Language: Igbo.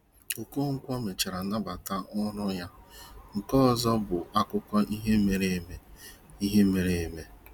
Okonkwo mechara nabata ọrụ ya, nke ọzọ bụ akụkọ ihe mere eme. ihe mere eme.